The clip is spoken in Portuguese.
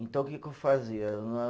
Então, o que que eu fazia?